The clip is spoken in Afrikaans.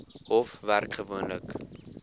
hof werk gewoonlik